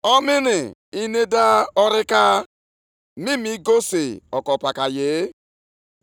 Ihe a ka Onyenwe anyị, Onye pụrụ ime ihe niile na-ekwu, “Chezienụ echiche banyere ndụ unu.